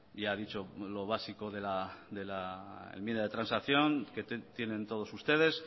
ya ha dicho lo básico de la enmienda de transacción que tienen todos ustedes